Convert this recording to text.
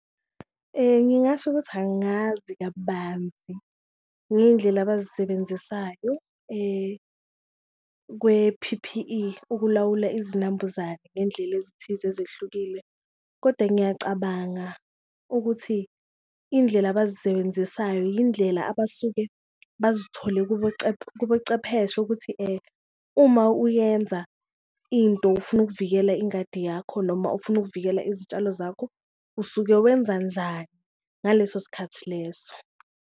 Ngingasho ukuthi angazi kabanzi ngeyindlela abazisebenzisayo kwe-P_P_E ukulawula izinambuzane ngendlela ezithize ezehlukile, kodwa ngiyacabanga ukuthi indlela abazisebenzisayo yindlela abasuke bazithole kobocepheshe ukuthi uma uyenza into ufuna ukuvikela ingadi yakho noma ufuna ukuvikela izitshalo zakho, usuke wenza njani ngaleso sikhathi leso.